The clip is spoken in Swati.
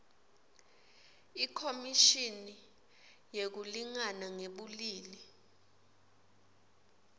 ikhomishini yekulingana ngebulili